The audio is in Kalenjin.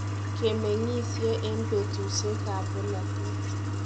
Kimeng'isie en petusiek ab polatet